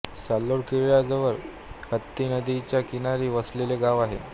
साल्हेर किल्ला जवळ हत्ती नदीच्या किनारी वसलेले गाव आहे